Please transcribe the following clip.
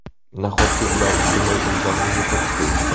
Nahotki ular butunlay o‘zlarini yo‘qotib qo‘yishdi?